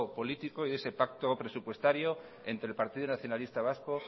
político de ese pacto presupuestario entre el partido nacionalista vasco